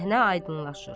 Səhnə aydınlaşır.